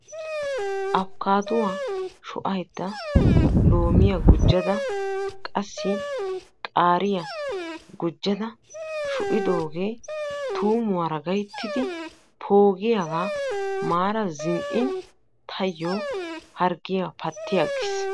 Afkkaadduwa sho"aydda loomiya gujjada qassi qaariya gujjada sho"idoogee tuummuwara gayttidi poogiyagaa maada zinn"in taayyo harggiya patti aggis.